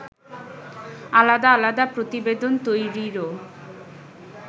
আলাদা আলাদা প্রতিবেদন তৈরিরও